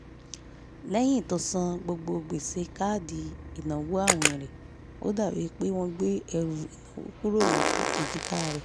lẹ́yìn tó san gbogbo gbèsè orí káàdì ináwó àwìn rẹ̀ ó dàbí i pé wọ́n gbé ẹrù ìnáwó kúrò lórí èjìká rẹ̀